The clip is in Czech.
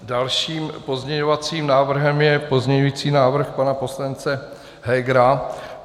Dalším pozměňovacím návrhem je pozměňovací návrh pana poslance Hegera.